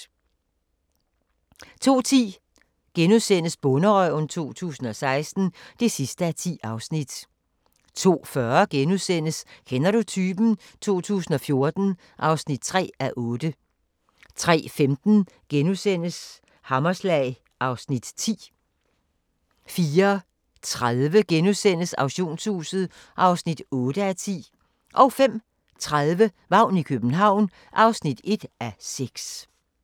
02:10: Bonderøven 2016 (10:10)* 02:40: Kender du typen? 2014 (3:8)* 03:15: Hammerslag (Afs. 10)* 04:30: Auktionshuset (8:10)* 05:30: Vagn i København (1:6)